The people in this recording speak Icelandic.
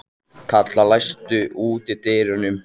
Kalla, læstu útidyrunum.